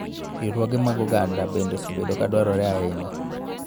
Riwruoge mag oganda bende osebedo ka dwarore ahinya